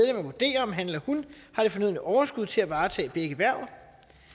at vurdere om han eller hun har det fornødne overskud til at varetage begge hverv